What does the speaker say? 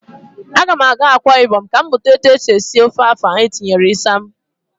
A ga m aga Akwa ibom ka m mụta etu esi esi ofe afan etinyere isam